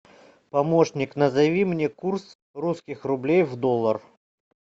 помощник назови мне курс русских рублей в доллар